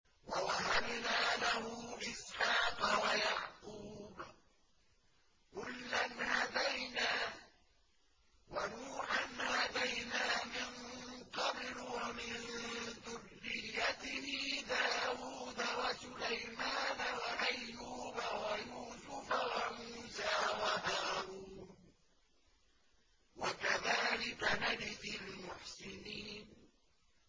وَوَهَبْنَا لَهُ إِسْحَاقَ وَيَعْقُوبَ ۚ كُلًّا هَدَيْنَا ۚ وَنُوحًا هَدَيْنَا مِن قَبْلُ ۖ وَمِن ذُرِّيَّتِهِ دَاوُودَ وَسُلَيْمَانَ وَأَيُّوبَ وَيُوسُفَ وَمُوسَىٰ وَهَارُونَ ۚ وَكَذَٰلِكَ نَجْزِي الْمُحْسِنِينَ